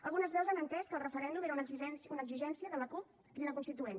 algunes veus han entès que el referèndum era una exigència de la cup crida constituent